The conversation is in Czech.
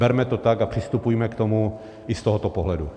Berme to tak a přistupujme k tomu i z tohoto pohledu.